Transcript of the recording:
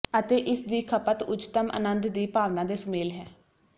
ਅਤੇ ਇਸ ਦੀ ਖਪਤ ਉੱਚਤਮ ਅਨੰਦ ਦੀ ਭਾਵਨਾ ਦੇ ਸੁਮੇਲ ਹੈ